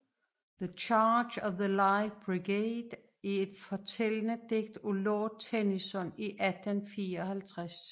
The Charge of the Light Brigade er et fortællende digt af lord Tennyson i 1854